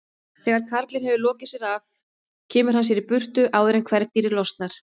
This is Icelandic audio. Þegar karlinn hefur lokið sér af kemur hann sér í burtu áður en kvendýrið losnar.